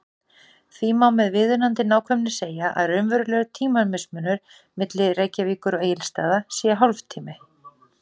Því má með viðunandi nákvæmni segja að raunverulegur tímamismunur milli Reykjavíkur og Egilsstaða sé hálftími.